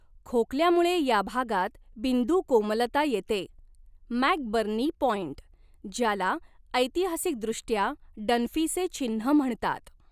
खोकल्यामुळे या भागात बिंदू कोमलता येते मॅकबर्नी पॉइंट, ज्याला ऐतिहासिकदृष्ट्या डन्फीचे चिन्ह म्हणतात.